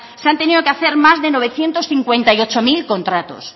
se han tenido que hacer más de novecientos cincuenta y ocho mil contratos